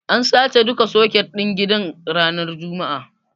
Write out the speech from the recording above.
An sace duka soket ɗin gidan ranar juma'a.